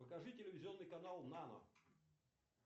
покажи телевизионный канал нано